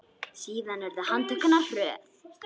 Síðan urðu handtök hennar hröð.